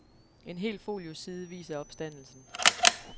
En hel folioside viser opstandelsen.